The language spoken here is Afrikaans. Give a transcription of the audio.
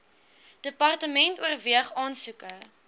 department oorweeg aansoeke